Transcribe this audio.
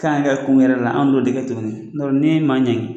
K'an ka kun wɛrɛ la an t'o de kɛ tuguni, n t'a. don n'i ye maa. ɲangi